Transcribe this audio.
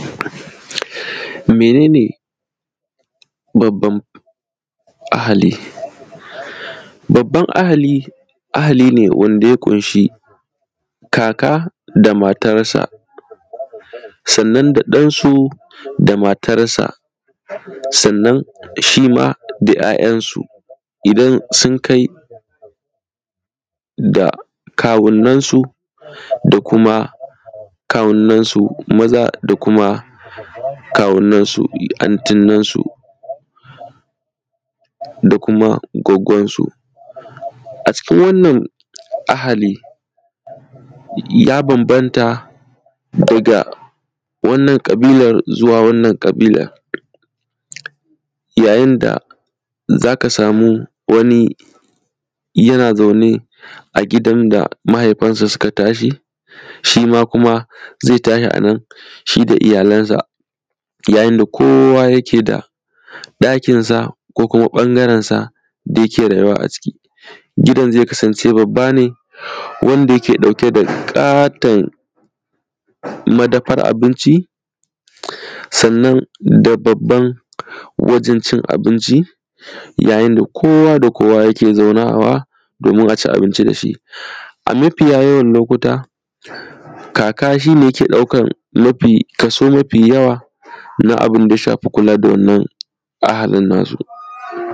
Mene ne babban ahali? Babban ahali, ahali ne wanda ya ƙunshi kaka da matarsa sannan da ɗansu da matarsar, sannan shima ‘ya’yansu idan sun kai da kawunan su da kuma, da kuma kawunansu maza da kuma kawunansu antinan su, da kuma Goggon su. A cikin wannan ahali ya banbanta da daga wannan ƙabilar zuwa wannan ƙabilar. Ya yin da zaka samu wani yana zaune a gidan da mahaifansa suka tashi shima kuma zai tashi yana da iyalansa, yayinda kowa yake da ɗakinsa ko kuma bangarensa da yake rayuwa a ciki. Gidan zai kasance babba ne wanda yake ɗauke da ƙaton madafar abinci sannan da babban wajen cin abinci ya yin da kowa da kowa yake zaunawa domin aci abinci dashi,a mafiya yawan lokuta kaka shi ne yake ɗauka kaso mafi kaso mafi yawa na abinda ya shafi kula da wannan ahalin nasu.